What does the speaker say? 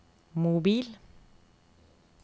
mobil